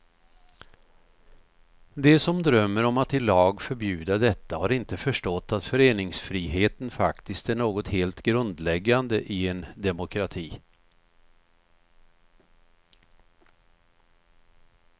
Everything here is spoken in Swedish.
De som drömmer om att i lag förbjuda detta har inte förstått att föreningsfriheten faktiskt är något helt grundläggande i en demokrati.